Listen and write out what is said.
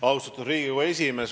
Austatud Riigikogu esimees!